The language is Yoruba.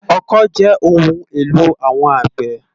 Òkõ jè óoùn éló áwòn ágbè